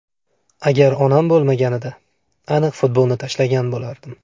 Agar onam bo‘lmaganida, aniq futbolni tashlagan bo‘lardim.